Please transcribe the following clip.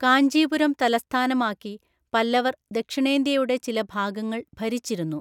കാഞ്ചീപുരം തലസ്ഥാനമാക്കി പല്ലവർ ദക്ഷിണേന്ത്യയുടെ ചില ഭാഗങ്ങൾ ഭരിച്ചിരുന്നു.